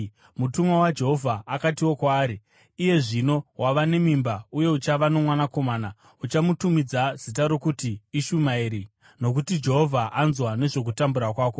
Mutumwa waJehovha akatiwo kwaari: “Iye zvino wava nemimba uye uchava nomwanakomana. Uchamutumidza zita rokuti Ishumaeri, nokuti Jehovha anzwa nezvokutambura kwako.